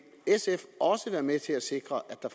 sf også være med til at sikre at der